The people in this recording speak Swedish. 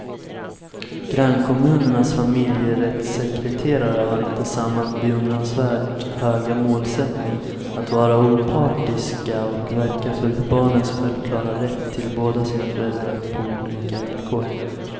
Grannkommunernas familjerättssekreterare har inte samma beundransvärt höga målsättning att vara opartiska och verka för barnens självklara rätt till båda sina föräldrar på lika villkor.